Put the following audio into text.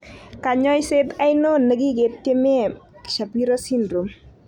Konyoiset ainon ne kigetiemen Shapiro syndrome.?